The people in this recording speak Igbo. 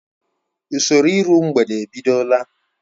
Usoro iru mgbede ebidola.